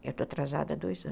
Eu estou atrasada há dois anos.